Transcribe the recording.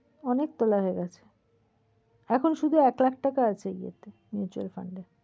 অনেক তোলা হয়ে গেছে। এখন শুধু এক লাখ টাকা আছে ইয়েতে। mutual fund এ।